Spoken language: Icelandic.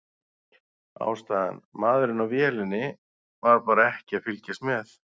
Ástæðan: Maðurinn á vélinni var bara ekki að fylgjast með.